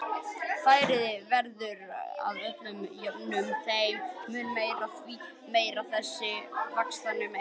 Flæðið verður að öðru jöfnu þeim mun meira, því meiri sem þessi vaxtamunur er.